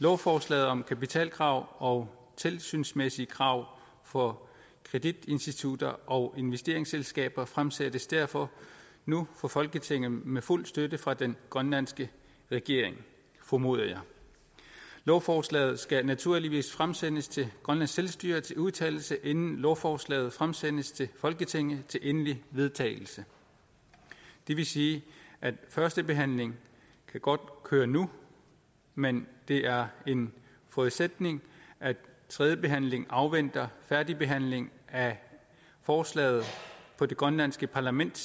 lovforslaget om kapitalkrav og tilsynsmæssige krav for kreditinstitutter og investeringsselskaber fremsættes derfor nu for folketinget med fuld støtte fra den grønlandske regering formoder jeg lovforslaget skal naturligvis fremsendes til grønlands selvstyre til udtalelse inden lovforslaget fremsendes til folketinget til endelig vedtagelse det vil sige at førstebehandlingen godt kan køre nu men det er en forudsætning at tredje behandling afventer færdigbehandling af forslaget på det grønlandske parlament